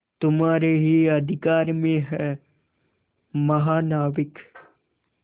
तुम्हारे ही अधिकार में है महानाविक